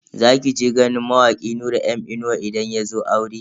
Za ki je ganin mawaki Nura M inuwa idan yazo auren?